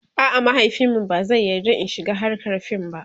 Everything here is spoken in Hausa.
a'a mahaifinmu ba zai yarda In shiga hrkar fim ba